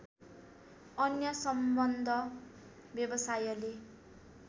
अन्य सम्बद्ध व्यवसायले